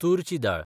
तुरची दाळ